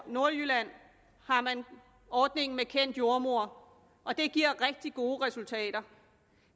nordjylland har man ordningen med kendt jordemoder og det giver rigtig gode resultater